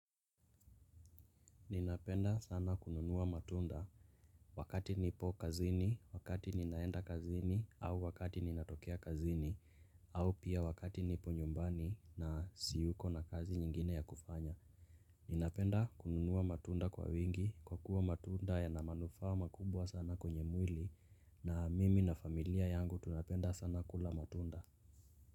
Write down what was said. Ninapenda sana kununua matunda wakati nipo kazini, wakati ninaenda kazini, au wakati ninatokea kazini, au pia wakati nipo nyumbani na siyuko na kazi nyingine ya kufanya. Ninapenda kununua matunda kwa wingi kwa kuwa matunda yana manufaa makubwa sana kwenye mwili na mimi na familia yangu tunapenda sana kula matunda.